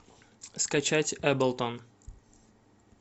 скачать эблтон